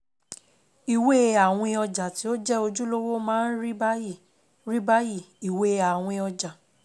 Ìwé àwìn ọjà tí ó jẹ́ ojúlówó máa ń rí báyìí: rí báyìí: ÌWÉ ÀWÌN ỌJÀ.